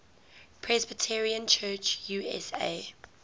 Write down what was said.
presbyterian church usa